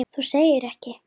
Þú segir ekki.